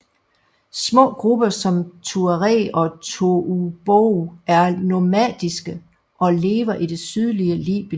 Små grupper som tuareg og toubou er nomadiske og lever i det sydlige Libyen